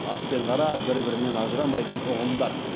ақ пен қара бір бірінен ажырамайтын ұғымдар